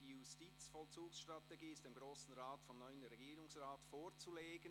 «Die Justizvollzugsstrategie ist dem Grossen Rat vom neuen Regierungsrat vorzulegen».